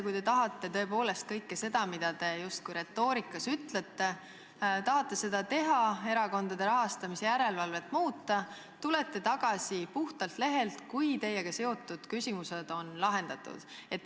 Kui te tõepoolest kõike seda, mida te retoorikas ütlete, tahate teha, tahate erakondade rahastamise järelevalvet muuta, siis ehk alustate puhtalt lehelt uuesti, kui teiega seotud küsimused on lahendatud?